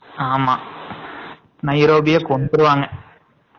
ஆமா மைரோபிய கொண்டுருவங்க